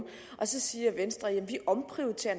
så siger venstre jamen vi omprioriterer